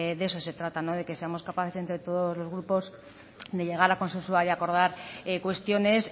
de eso se trata de que seamos capaces entre todos los grupos de llegar a consensuar y acordar cuestiones